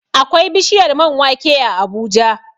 Akwai bishiyar man wake a Abuja